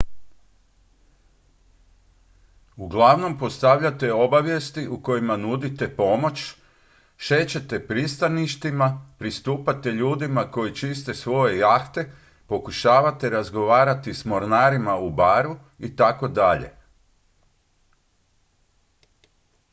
uglavnom postavljate obavijesti u kojima nudite pomoć šećete pristaništima pristupate ljudima koji čiste svoje jahte pokušavate razgovarati s mornarima u baru itd